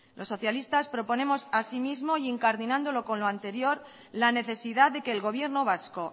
los socialistas proponemos asimismo e incardinándolo con lo anterior la necesidad de que el gobierno vasco